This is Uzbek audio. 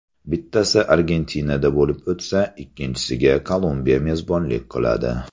Bittasi Argentinada bo‘lib o‘tsa, ikkinchisiga Kolumbiya mezbonlik qiladi.